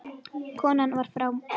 Konan var frá